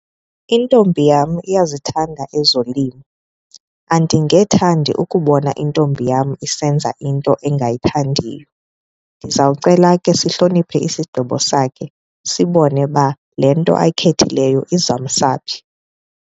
Intombi yam iyazithanda ezolimo. Andingethandi ukubona intombi yam isenza into engayithandiyo. Ndiza kucela ke sihloniphe isigqibo sakhe sibone uba le nto ayikhethileyo izawumsa phi.